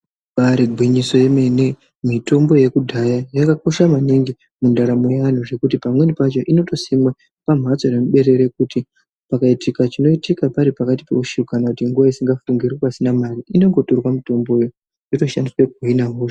Ibari gwinyiso yemene mitombo yekudhaya yakakosha maningi mundaramo yeantu zvekuti pamweni pacho inotosimwa pambatso nemuberere kuti pakaitika chinoitika paripakati peusiku kana nguva isingafungiri pasina mari inongotorwa mitombo iyi yotoshandiswa kuhina hosha.